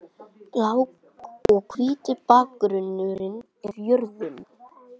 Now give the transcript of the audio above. Blái og hvíti bakgrunnurinn er jörðin.